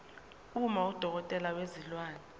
uma udokotela wezilwane